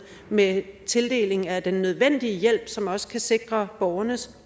med tildeling af den nødvendige hjælp som også kan sikre borgernes